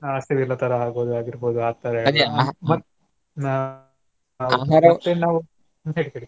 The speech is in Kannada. ಹಸಿವಿಲ್ಲ ತರಾ ಆಗೀರ್ಬೋದು ಆ ತರಾ ನಾ .